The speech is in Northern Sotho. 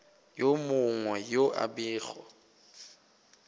yo mongwe yo a bego